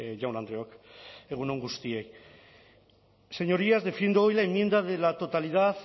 jaun andreok egun on guztioi señorías defiendo hoy la enmienda de la totalidad